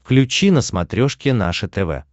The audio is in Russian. включи на смотрешке наше тв